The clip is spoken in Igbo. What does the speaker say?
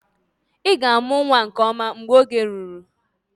Ị ga-amụ nwa nke ọma mgbe oge ruru